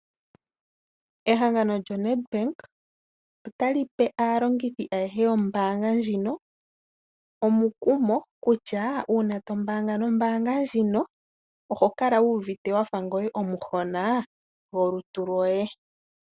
Ehangano lyoNedbank ota li pe aalongithi ayehe yombaanga ndjino omukumo kutya, uuna to mbaanga nombaanga ndjino oho kala wu uvite wa fa ngoye omuhona gwolutu lwoye.